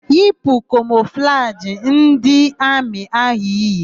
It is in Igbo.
Yipu kamọflajị ndị amị áhụ̀ iyi!